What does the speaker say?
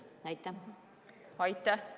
Aitäh!